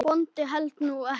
Bóndi hélt nú ekki.